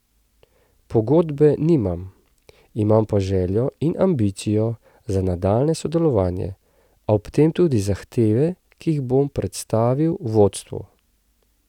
Pogodbe nimam, imam pa željo in ambicijo za nadaljnje sodelovanje, a ob tem tudi zahteve, ki jih bom predstavil vodstvu.